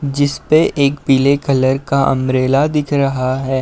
जिसपे एक पीले कलर का अम्ब्रेला दिख रहा है।